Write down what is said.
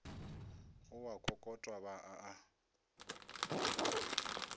go a kokotwa ba a